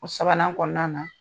O sabanan kɔnɔna na